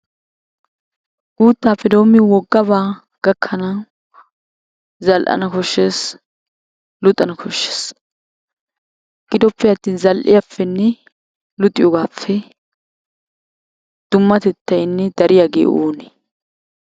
Guuttaappe doommi woggabaa gakkanawu zal'ana koshshes. Luxana koshshes. Gidoppeattin zal'iyappenne luxiyogaappe dummatettay ne dariyagee oonee?